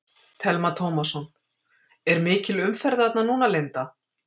Telma Tómasson: Er mikil umferð þarna núna Linda?